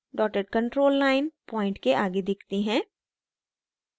dotted control line point के आगे दिखती है